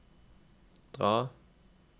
dra